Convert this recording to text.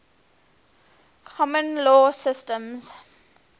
common law systems